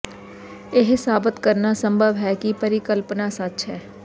ਇਹ ਸਾਬਤ ਕਰਨਾ ਸੰਭਵ ਹੈ ਕਿ ਪਰਿਕਲਪਨਾ ਸੱਚ ਹੈ